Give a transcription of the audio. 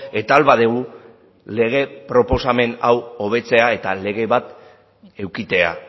eta ahal badugu lege proposamen hau hobetzea eta lege bat edukitzea